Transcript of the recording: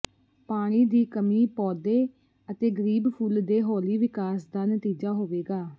ਪਾਣੀ ਦੀ ਕਮੀ ਪੌਦੇ ਅਤੇ ਗਰੀਬ ਫੁੱਲ ਦੇ ਹੌਲੀ ਵਿਕਾਸ ਦਾ ਨਤੀਜਾ ਹੋਵੇਗਾ